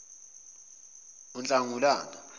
unhlangulana